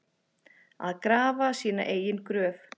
Að grafa sína eigin gröf